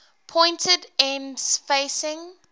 pointed ends facing